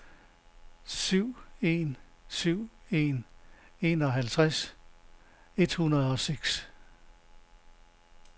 syv en syv en enoghalvtreds et hundrede og seks